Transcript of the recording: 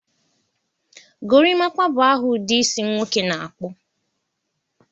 Gorimapa bụ aha ụdị isi nwoke na-akpụ.